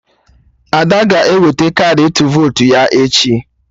Ada ga-eweta kaadị ịtụ votu ya echi